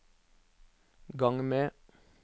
gang med